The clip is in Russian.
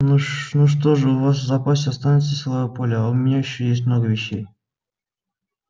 ну что же у вас в запасе останется силовое поле а у меня ещё есть много вещей